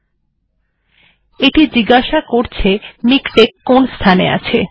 এটি আপনাকে জিজ্ঞাসা করবে যে কোন স্থানে মিকটেক্ সংস্করণ টি আছে